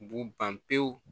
B'u ban pewu